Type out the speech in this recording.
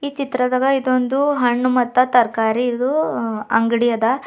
ಈ ಚಿತ್ರದಾಗ ಇದೊಂದು ಹಣ್ಣು ಮತ್ತು ತರಕಾರಿದು ಅಂಗಡಿ ಅದ.